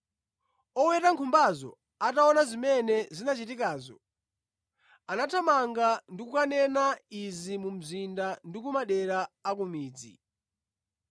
Oweta nkhumbazo ataona zimene zinachitikazo, anathamanga ndi kukanena izi mu mzinda ndi ku madera a ku midzi.